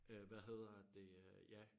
Øh hvad hedder det øh ja